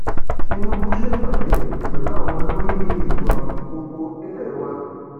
tinúbú ṣèpàdé pẹlú àwọn olórí ètò ààbò gbogbo nílé wa